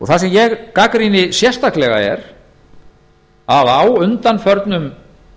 það sem ég gagnrýni sérstaklega er að á undanförnum